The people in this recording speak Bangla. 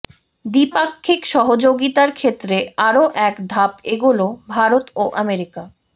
দ্বিপাক্ষিক সহযোগিতার ক্ষেত্রে আরও এক ধাপ এগোল ভারত ও আমেরিকা